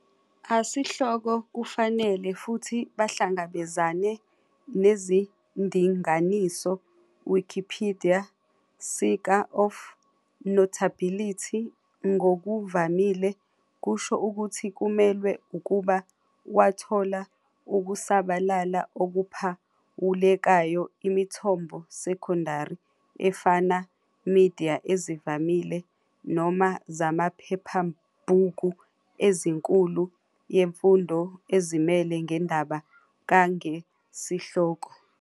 A sihloko kufanele futhi bahlangabezane nezindinganiso Wikipedia sika of "notability", ngokuvamile kusho ukuthi kumelwe ukuba wathola Ukusabalala okuphawulekayo imithombo secondary efana media ezivamile- noma zamaphephabhuku ezinkulu yemfundo ezimele ngendaba ka ngesihloko.